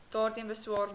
daarteen beswaar maak